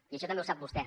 i això també ho sap vostè